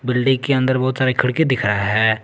Building के अंदर बहुत सारे खिड़की दिख रहा है।